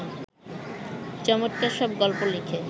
চমৎকার সব গল্প লিখে